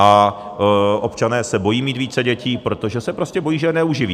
A občané se bojí mít více dětí, protože se prostě bojí, že je neuživí.